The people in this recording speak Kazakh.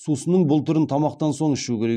сусынның бұл түрін тамақтан соң ішу керек